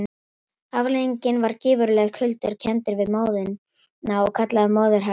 Afleiðingin var gífurlegir kuldar, kenndir við móðuna og kallaðir móðuharðindi.